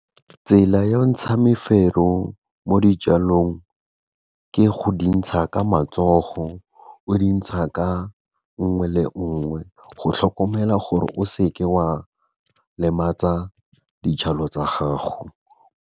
Tsela ya go ntsha mefero mo dijalong ke go di ntsha ka matsogo, o di ntsha ka nngwe le nngwe go tlhokomela gore o seke wa lematsa dijalo tsa gago.